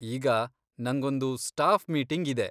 ಈಗ ನಂಗೊಂದು staff meeting ಇದೆ.